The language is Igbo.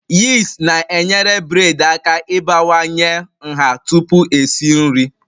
Yist na-enyere bred aka ịbawanye nha tupu esi nri